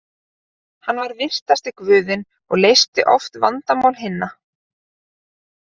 Hann var vitrasti guðinn og leysti oft vandamál hinna.